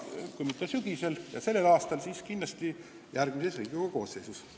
Kui mitte tänavu sügisel, siis kindlasti järgmises Riigikogu koosseisus.